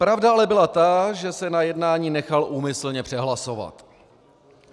Pravda ale byla ta, že se na jednání nechal úmyslně přehlasovat.